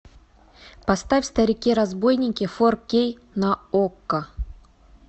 поставь старики разбойники фор кей на окко